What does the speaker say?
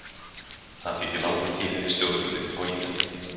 Það þykir langur tími við stjórnvölinn á Ítalíu.